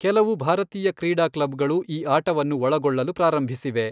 ಕೆಲವು ಭಾರತೀಯ ಕ್ರೀಡಾ ಕ್ಲಬ್ಗಳು ಈ ಆಟವನ್ನು ಒಳಗೊಳ್ಳಲು ಪ್ರಾರಂಭಿಸಿವೆ.